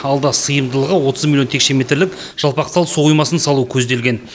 алда сыйымдылығы отыз миллион текше метрлік жалпақтал су қоймасын салу көзделген